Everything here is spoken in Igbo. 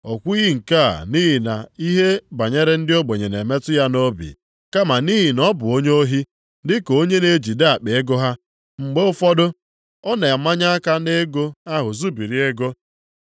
O kwughị nke a nʼihi na ihe banyere ndị ogbenye na-emetụ ya nʼobi kama nʼihi na ọ bụ onye ohi; dị ka onye na-ejide akpa ego ha, mgbe ụfọdụ, ọ na-amanye aka nʼego ahụ zubiri ego.